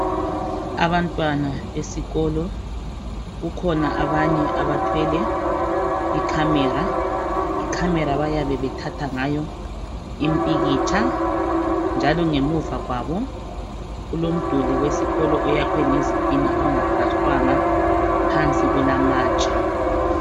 Abantwana besikolo kukhona abanye abathwele icamera, icamera bayabe bethatha ngayo impikitsha njalo ngemuva kwabo kulomduli wesikolo oyakhwe ngezitina ongaplastangwa phansi kulamatshe.